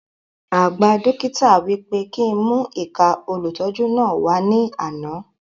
Àgba dókítà wí pé kí n mú ìka olùtọ́jú náà wà ní àna